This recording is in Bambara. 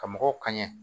Ka mɔgɔw kaɲɛ